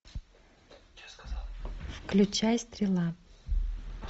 включай стрела